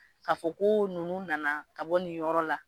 Ka fɔ ko nunnu nana ka bɔ nin yɔrɔ la.